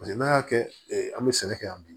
Paseke n'an y'a kɛ an bɛ sɛnɛ kɛ yan bi